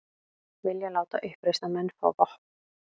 Vilja láta uppreisnarmenn fá vopn